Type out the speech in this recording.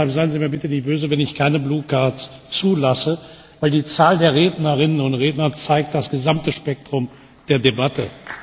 Deshalb seien Sie mir bitte nicht böse, wenn ich keine blauen Karten zulasse, denn die Zahl der Rednerinnen und Redner zeigt das gesamte Spektrum der Debatte.